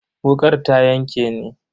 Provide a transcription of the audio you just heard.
Wukar ta yanke ni.